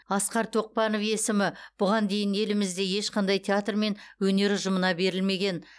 асқар тоқпанов есімі бұған дейін елімізде ешқандай театр мен өнер ұжымына берілмеген